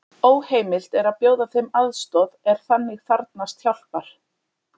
Óheimilt er að bjóða þeim aðstoð er þannig þarfnast hjálpar.